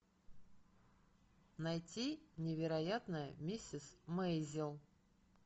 найти невероятная миссис мейзел